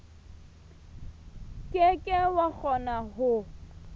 ke ke wa kgona ho